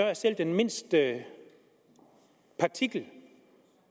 er selv den mindste partikel